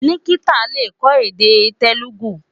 Nikita le kọ́ èdè Telugu.